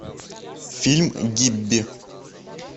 фильм гибби